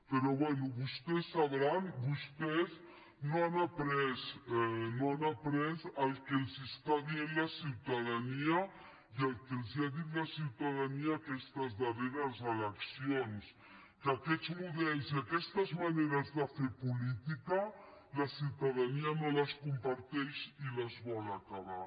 però bé vostès no han après no han après el que està dient la ciutadania i el que els ha dit la ciutadania aquestes darreres eleccions que aquests models i aquestes maneres de fer política la ciutadania no les comparteix i les vol acabar